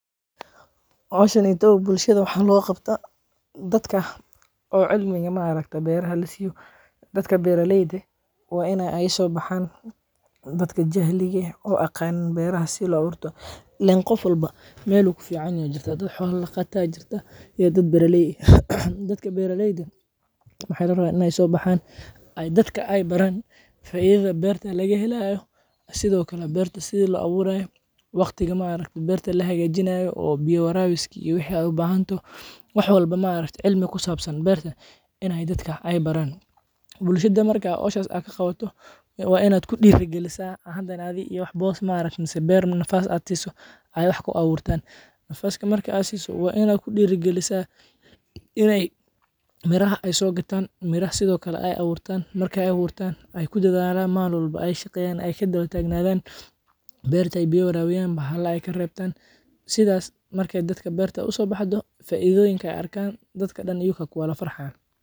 Howshaneytow waxaa bulshaada loga qabta dadka oo ma argta cilmiga beraha lasiyo, dadka beera leyd ah waa in ee sobaxan dadka jahliga eh oo aad aqanin beraha sithi lo aburo, ilen qof walba meel ayu ku fican yehe, dad xola daqata ah iyo dad beeraley eh aya jiran, dadka beera leyda eh waxaa la rawa In ee so baxan oo dadka ee baran faidadha beerta laga helayo, sithokale berta sithi lo aburayo waqtiga ma aragte berta la hagajinayo, oo biya warawiski iyo wixi ee u bahantoho, wax walbo ma aragte cilmi ku sabsan beerta in ee dadka baran, bulshaada marka aad howshas ka qawato waa in aad ku dira galisa, hada bos ama wax ee beer ku aburtan in aad siso oo wax ee ku aburtan, nafaska marka aad si so kadiib waa in aad ku dira galisa, in ee miiraha so gatan, sithokale ee aburtan, ee ku dadhalan malin walbo ee shaqeyan, ee ka dawa tagnadhan, beerta ee biya warabiyan, bahala ee ka rebtan, sithas marki ee dadka berta uso baxdo, faidoyiinka ee arkan dadka iyuka aya wadha farxayan.